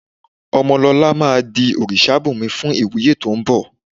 Ọmọlọlá máa di òrìṣàbùnmi fún ìwúyè tó ń bọ